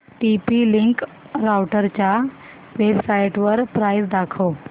TP link राउटरच्या वेबसाइटवर price दाखव